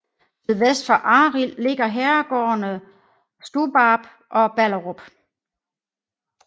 Sydvest for Arild ligger herregårdene Stubbarp og Balderup